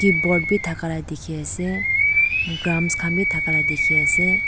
board b dakala diki ase drums kan b dakala diki ase.